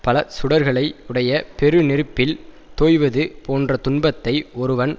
பல சுடர்களை உடைய பெரு நெருப்பில் தோய்வது போன்ற துன்பத்தை ஒருவன்